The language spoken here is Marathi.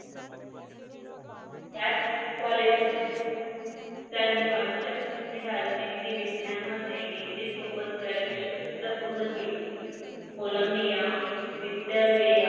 त्याच कॉलेज मधून त्यांनी अर्थशास्त्र आणि राजनीती विज्ञानमध्ये डीग्री सोबत graduation सुद्धा पूर्ण केले कोलंबिया विद्यलेया.